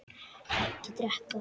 Ekki drekka.